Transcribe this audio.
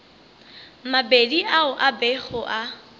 mabedi ao a bego a